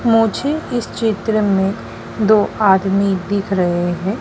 मुझे इस चित्र में दो आदमी दिख रहे हैं।